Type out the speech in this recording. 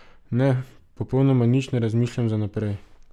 Ne, popolnoma nič ne razmišljam za naprej.